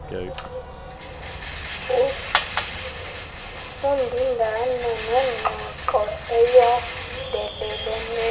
undindano nengxoxo eyondeleleneyo